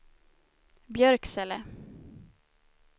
Björksele